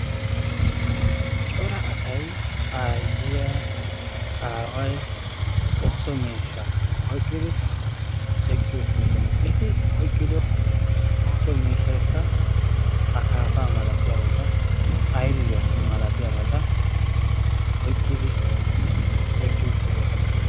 Cora asay aayiya aawaay ooso miishsha oyqqidi eqqiuttidosona. Eti oyqqi uttido miishshaykka akaafa malatiyabata aylliya malatiyabata oyqqidi eqqiuttidosona.